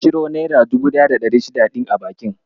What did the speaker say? Ka ciro naira 1600 ɗin a bankin?